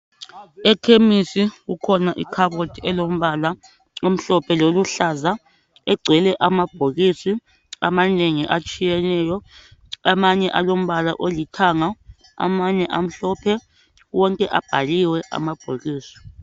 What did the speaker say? Ekhemisi kukhona ikhabothi elombala omhlophe loluhlaza, egcwele amabhokisi amanengi atshiyeneyo. Amanye alombala olithanga, amanye amhlophe. Wonke abhaliwe amabhokisi.